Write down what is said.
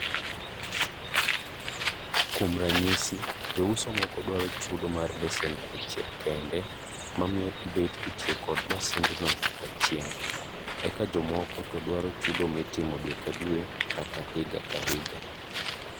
Kuom ranyisi, jouso moko dwar chudo mar lesen nyadichiel kende mamiyo ibet kitiyo kod masindno nyakachieng',eka jomoko to dwqaro chudo mitimo dwe ka dwe kata higa ka higa.